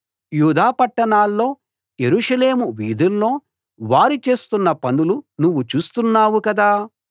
యూదా పట్టణాల్లో యెరూషలేము వీధుల్లో వారు చేస్తున్న పనులు నువ్వు చూస్తున్నావు కదా